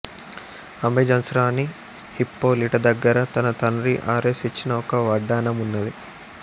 Amazon's రాణి Hippolyta దగ్గర తన తండ్రి ఆరెస్ ఇచ్చిన ఒక వడ్డాణం ఉన్నది